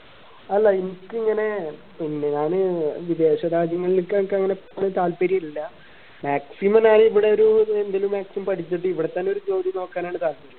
അല്ല ഇനിക്ക് ഇങ്ങനെ പിന്നെ ഞാന് വിദേശരാജ്യങ്ങളിൽക്കെ അങ്ങനെ താല്പര്യല്ല maximum ഞാന് ഇവിടെ ഒരു എന്തിനു maximum പഠിച്ചിട്ട് ഇവിടെത്തന്നെ ഒരു ജോലി നോക്കാനാണ് താല്പര്യം